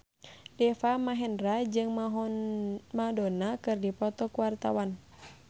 Deva Mahendra jeung Madonna keur dipoto ku wartawan